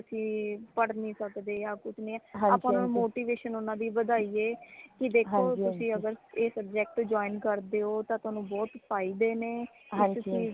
ਅਸੀਂ ਕਿ ਪੱੜ ਨੀ ਸਕਦੇ ਆ ਕੁਛ ਨੀ ਆਪਾ motivation ਊਨਾ ਦੀ ਵਧਾਯਿਏ ਕਿ ਦੇਖੋ ਤੁਸੀ ਅਗਰ ਏ subject join ਕਰਦੇ ਹੋ ਤਾ ਤੁਆਨੁ ਬਹੁਤ ਫਾਇਦੇ ਨੇ ਕੀ ਤੁਸੀਂ ਏਦੇ